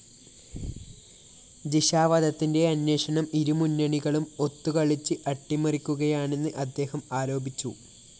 ജിഷാവധത്തിന്റെ അന്വേഷണം ഇരുമുന്നണികളും ഒത്തുകളിച്ച് അട്ടിമറിക്കുകയാണെന്ന് അദ്ദേഹം ആരോപിച്ചു